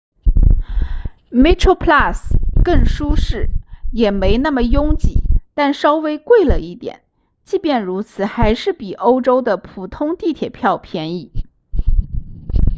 metroplus 更舒适也没那么拥挤但稍微贵了一点即便如此还是比欧洲的普通地铁票便宜